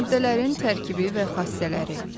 Maddələrin tərkibi və xassələri.